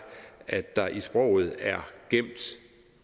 at der i sproget